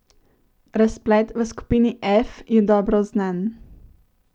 Razplet v skupini F je dobro znan.